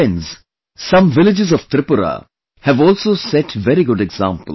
Friends, some villages of Tripura have also set very good examples